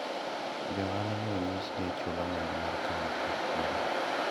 jo ohala nye onyis ni ochul omenda mar kaunti e siro